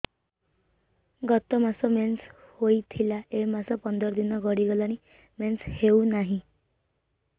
ଗତ ମାସ ମେନ୍ସ ହେଇଥିଲା ଏ ମାସ ପନ୍ଦର ଦିନ ଗଡିଗଲାଣି ମେନ୍ସ ହେଉନାହିଁ